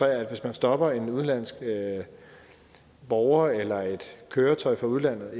at hvis man stopper en udenlandsk borger eller et køretøj fra udlandet